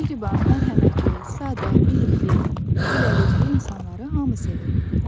Mehriban, mərhəmətli, sadə, bilikli, gülərüzlü insanları hamı sevir.